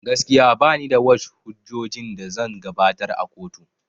Gaskiya banida wash hujjojin da zan gabatar a kotu